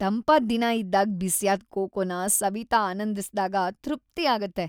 ತಂಪಾದ್ ದಿನ ಇದ್ದಾಗ್ ಬಿಸಿಯಾದ್ ಕೊಕೊನ ಸವಿತಾ ಆನಂದಿಸ್ದಾಗ ತೃಪ್ತಿ ಆಗುತ್ತೆ.